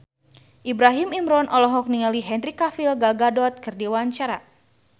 Ibrahim Imran olohok ningali Henry Cavill Gal Gadot keur diwawancara